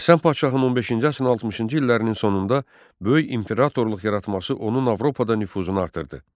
Həsən Padşahın 15-ci əsrin 60-cı illərinin sonunda böyük imperatorluq yaratması onun Avropada nüfuzunu artırdı.